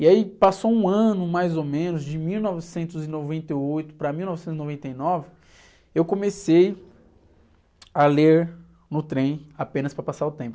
E aí passou um ano, mais ou menos, de mil novecentos e noventa e oito para mil novecentos e noventa e nove, eu comecei a ler no trem apenas para passar o tempo.